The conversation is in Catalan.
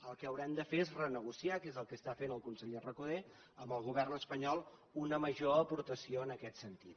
el que haurem de fer és renegociar que és el que està fent el conseller recoder amb el govern espanyol una major aportació en aquest sentit